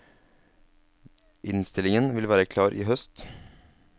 Innstillingen vil være klar i høst.